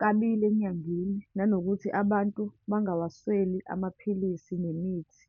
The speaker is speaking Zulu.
kabili enyangeni, nanokuthi abantu bangawasweli, amaphilisi nemithi.